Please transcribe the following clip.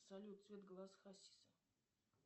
салют цвет глаз хасиса